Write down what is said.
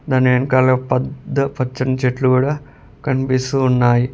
దాని వెనకాల ఒక్ పద్ద పచ్చని చెట్లు గుడా కన్పిస్తూ ఉన్నాయి.